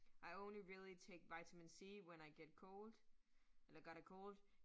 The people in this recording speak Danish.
I only really take vitamin C, when I get cold eller got a cold